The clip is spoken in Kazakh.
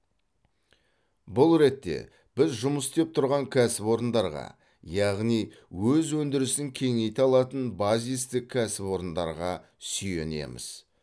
бұл ретте біз жұмыс істеп тұрған кәсіпорындарға яғни өз өндірісін кеңейте алатын базистік кәсіпорындарға сүйенеміз